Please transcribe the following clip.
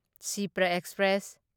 Shipra express